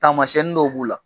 Taamasiɲɛnin dɔw b'u la